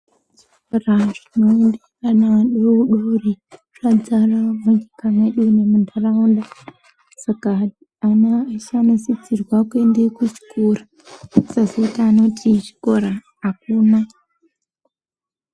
Zvikora zvinoende ana adori dori zvadzara munyika mwedu nemuntaraunda dzedu. Saka ana ese anosisirwe kuende kuchikora kusazoite anoti chikora hakuna.